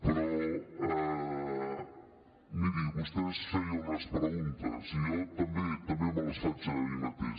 però miri vostè es feia unes preguntes i jo també me les faig a mi mateix